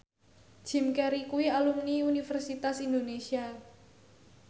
Jim Carey kuwi alumni Universitas Indonesia